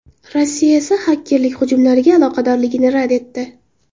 Rossiya esa xakerlik hujumlariga aloqadorligini rad etdi.